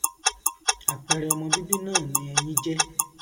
àpẹrẹ ọmọ bíbí náà ni ẹyin jẹ